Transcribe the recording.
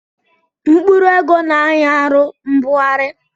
Mkpụrụ ego na-anyị arụ mbugharị